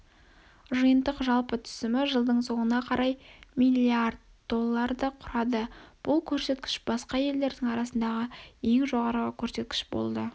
жиынтық жалпы түсімі жылдың соңына қарай миллиард долларды құрады бұл көрсетікіш басқа елдердің арасындағы ең жоғары көрсеткіш болды